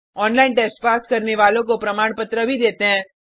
online test pass करने वालों को प्रमाण पत्र भी देते हैं